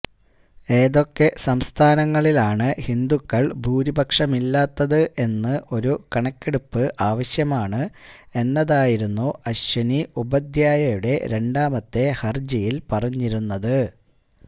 ഏതൊക്കെ സംസ്ഥാനങ്ങളിലാണ് ഹിന്ദുക്കള് ഭൂരിപക്ഷമല്ലാത്തത് എന്ന് ഒരു കണക്കെടുപ്പ് ആവശ്യമാണ് എന്നതായിരുന്നു അശ്വിനി ഉപാധ്യായയുടെ രണ്ടാമത്തെ ഹര്ജിയില് പറഞ്ഞിരുന്നത്